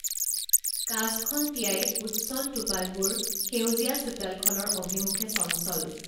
কাঁচখন তিয়াই উচ্ছল টোপালবোৰ সেউজীয়া চোতালখনৰ অভিমুখে চঞ্চল